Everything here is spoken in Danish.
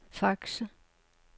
Fakse